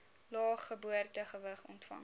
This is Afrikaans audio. lae geboortegewig ontvang